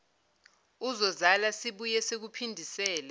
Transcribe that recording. uzozala sibuye sikuphindisele